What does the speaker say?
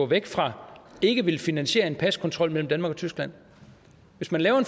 venstre ikke vil finansiere en paskontrol mellem danmark og tyskland hvis man laver